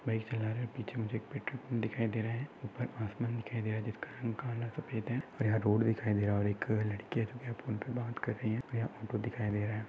Bike चला रहे पिच्छे मुझे एक पेट्रोल पंप दिखाई दे रहा है उपर आसमान दिखाई दे रहा जिसका रंग काला सफेद है और यह रोड दिखाई दे रहा और एक लडकीया जो है फोन पे बात कर रही है दिखाई दे रहा है।